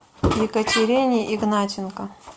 екатерине игнатенко